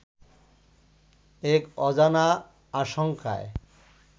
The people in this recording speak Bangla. এক অজানা আশঙ্কায়